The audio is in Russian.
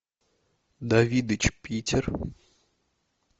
давидыч питер